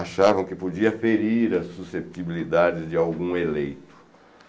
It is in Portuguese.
Achavam que podia ferir a suscetibilidade de algum eleito.